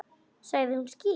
Sagði hún ský?